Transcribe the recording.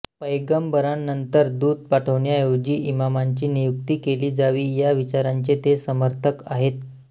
पैगंबरांनंतर दूत पाठवण्याऐवजी इमामांची नियुक्ती केली जावी या विचारांचे ते समर्थक आहेत